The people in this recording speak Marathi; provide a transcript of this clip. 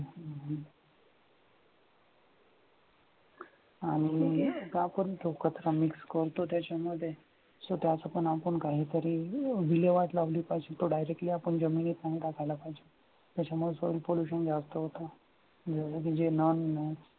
आनंदी आणि आपण एकत्र मिस करतो त्याच्यामध्ये स्वतःचं पण आपण काहीतरी विल्हेवाट लावली पाहिजे. तो directly आपण जमिनीत नाही टाकायला पाहिजे त्याच्यामुळे soil pollution जास्त होत.